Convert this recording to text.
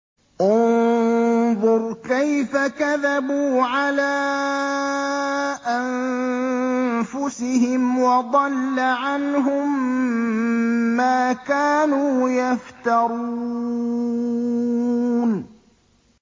انظُرْ كَيْفَ كَذَبُوا عَلَىٰ أَنفُسِهِمْ ۚ وَضَلَّ عَنْهُم مَّا كَانُوا يَفْتَرُونَ